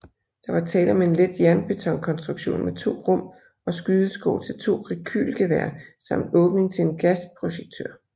Der var tale om en let jernbetonkonstruktion med 2 rum og skydeskår til 2 rekylgeværer samt åbning til en gasprojektør